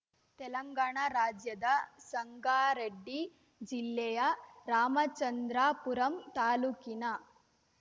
ತೆಲಂಗಾಣ ರಾಜ್ಯದ ಸಂಗಾರೆಡ್ಡಿ ಜಿಲ್ಲೆಯ ರಾಮಚಂದ್ರಾಪುರಂ ತಾಲೂಕಿನ